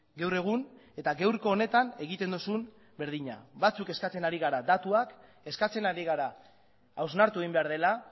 gaur egun eta gaurko honetan egiten duzun berdina batzuk eskatzen ari gara datuak eskatzen ari gara hausnartu egin behar dela